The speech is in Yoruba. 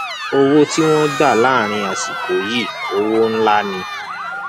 owó tí wọn gbà láàrin àsìkò yìí owó ńlá ni